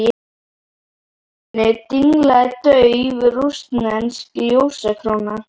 Í loftinu dinglaði dauf rússnesk ljósakróna.